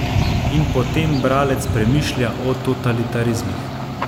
In potem bralec premišlja o totalitarizmih.